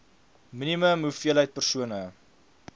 minimum hoeveelheid persone